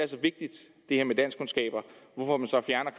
her med danskkundskaber